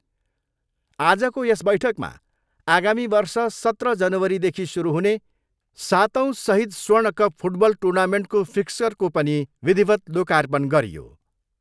आजको यस बैठकमा आगामी वर्ष सत्र जनवरीदेखि सुरु हुने सातौँ सहिद स्वर्ण कप फुटबल टुर्नामेन्टको फिक्चरको पनि विधिवत लोकार्पण गरियो।